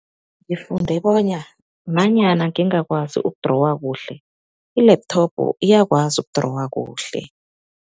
Ngifunde bona nanyana ngingakwazi ukudrowa kuhle, i-laptop iyakwazi ukudrowa kuhle.